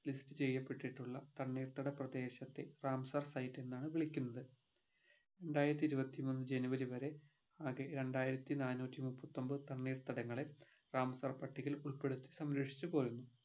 list ചെയ്യപ്പെട്ടിട്ടുള്ള തണ്ണീർത്തട പ്രദേശത്തെ റാംസാർ site എന്നാണ് വിളിക്കുന്നത് രണ്ടായിരത്തി ഇരുപത്തിമൂന്ന് january വരെ ആകെ രണ്ടായിരത്തി നാന്നൂറ്റി മുപ്പത്തൊമ്പത് തണ്ണീർത്തടങ്ങളെ റാംസാർ പട്ടികയിൽ ഉൾപ്പെടുത്തി സംരക്ഷിച്ചു പോരുന്നു